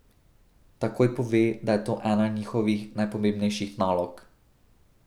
Takoj pove, da je to ena njihovih najpomembnejših nalog.